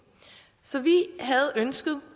så vi havde ønsket